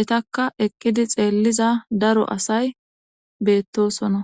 etakka ekkidi xeelliza daro asay beettosona.